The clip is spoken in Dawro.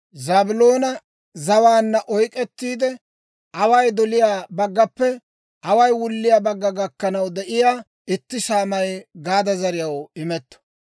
Zaabiloona zawaanna oyk'k'ettiide, away doliyaa baggappe away wulliyaa bagga gakkanaw de'iyaa itti saamay Gaada zariyaw imetto.